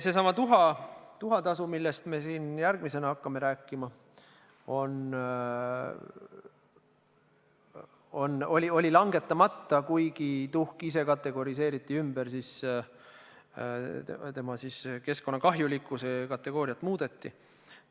Seesama tuhatasu, millest me siin järgmisena hakkame rääkima, oli langetamata, kuigi tuhk ise kategoriseeriti ümber, selle keskkonnakahjulikkuse kategooriat muudeti.